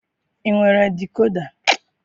I nwere dikoda?